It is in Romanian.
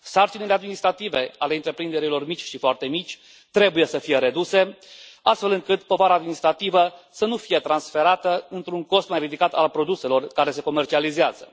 Sarcinile administrative ale întreprinderilor mici și foarte mici trebuie să fie reduse, astfel încât povara administrativă să nu fie transferată într un cost mai ridicat al produselor care se comercializează.